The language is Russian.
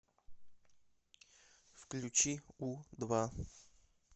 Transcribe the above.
включи у два